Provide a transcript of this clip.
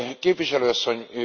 Képviselő Asszony!